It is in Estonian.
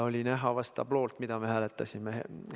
Oli näha vast hääletustabloolt, mida me hääletasime.